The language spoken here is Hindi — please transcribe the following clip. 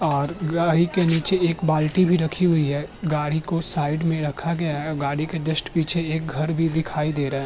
और गाड़ी के नीचे एक बाल्टी भी रखी हुई है। गाड़ी को साइड में रखा गया है और गाड़ी के जस्ट पीछे एक घर भी दिखाई दे रहा है।